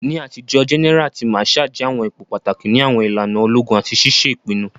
Ni atijo, gẹ́nẹ́ra àti màsháà jẹ àwọn ipò pàtàkì ni àwọn ìlànà ológun àti ṣiṣe ìpinnu.